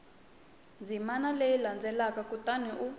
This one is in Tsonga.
ndzimana leyi landzelaka kutani u